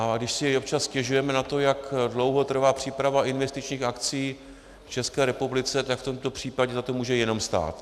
A když si občas stěžujeme na to, jak dlouho trvá příprava investičních akcí v České republice, tak v tomto případě za to může jenom stát.